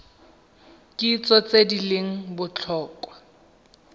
kitso tse di leng botlhokwa